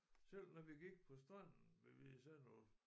Selv når vi gik på stranden ved Hvide Sande og